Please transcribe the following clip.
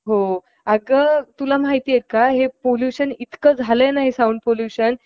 संघाला विरोधी संघाच्या जाळ्या मारण्याचा प्रयत्न करतात आणि goal रक्षक net चे रक्षण करतो. आणि